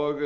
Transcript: og